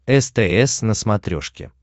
стс на смотрешке